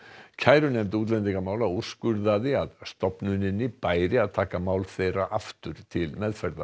kærunefnd útlendingamála úrskurðaði að stofnuninni bæri að taka mál þeirra aftur til meðferðar